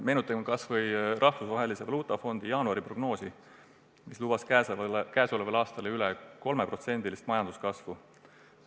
Meenutagem kas või Rahvusvahelise Valuutafondi jaanuari prognoosi, mis lubas käesolevaks aastaks enam kui 3% majanduskasvu.